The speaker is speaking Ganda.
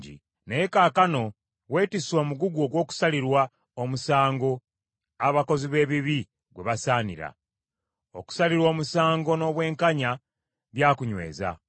Naye kaakano weetisse omugugu ogw’okusalirwa omusango abakozi b’ebibi gwe basaanira; okusalirwa omusango n’obwenkanya byakunyweza.